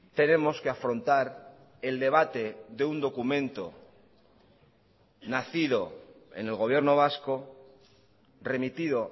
tenemos que afrontar el debate de un documento nacido en el gobierno vasco remitido